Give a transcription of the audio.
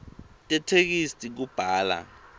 tetheksthi kubhala